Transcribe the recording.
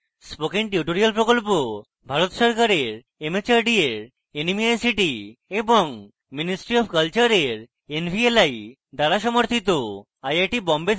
spoken tutorial project ভারত সরকারের mhrd এর nmeict এবং ministry অফ কলচারের nvli দ্বারা সমর্থিত